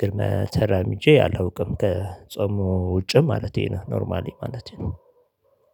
ግርመ ተራምጄ አላውቅም ከጾሙ ውጭ ማለቴ ነው ኖርማሊ ማለቴ ነው።